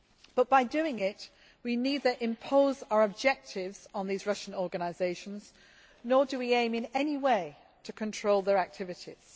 But by doing it, we neither impose our objectives on these Russian organisations, nor do we aim in any way to control their activities.